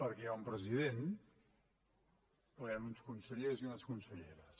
perquè hi ha un president però hi han uns consellers i unes conselleres